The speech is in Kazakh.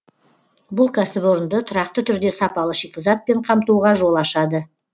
бұл кәсіпорынды тұрақты түрде сапалы шикізатпен қамтуға жол ашады